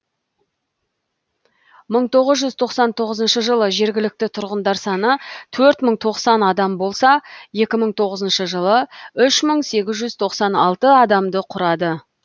мың тоғыз жүз тоқсан тоғызыншы жылы жергілікті тұрғындар саны төрт мың тоқсан адам болса екі мың тоғызыншы жылы үш мың сегіз жүз тоқсан алты адамды құрады